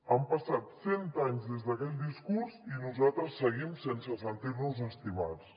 han passat cent anys des d’aquell discurs i nosaltres seguim sense sentir nos estimats